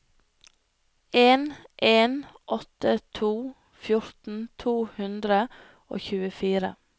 en en åtte to fjorten to hundre og tjuefire